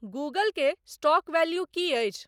Google के stock value की अछि